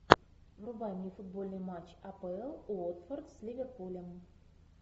врубай мне футбольный матч апл уотфорд с ливерпулем